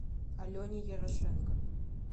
алене ярошенко